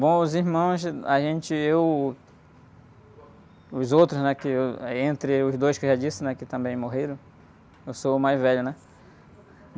Bom, os irmãos, a gente, eu, os outros, né, que eu, entre os dois que eu já disse, né, que também morreram, eu sou o mais velho, né.